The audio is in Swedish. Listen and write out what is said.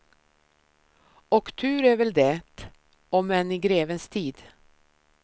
Och tur är väl det, om än i grevens tid.